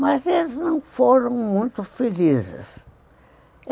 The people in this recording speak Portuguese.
Mas eles não foram muito felizes.